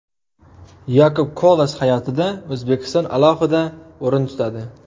Yakub Kolas hayotida O‘zbekiston alohida o‘rin tutadi.